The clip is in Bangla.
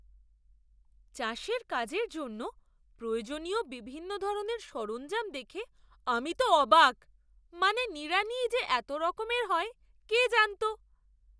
চাষের কাজের জন্য প্রয়োজনীয় বিভিন্ন ধরনের সরঞ্জাম দেখে আমি তো অবাক! মানে, নিড়ানিই যে এত রকমের হয় কে জানতো?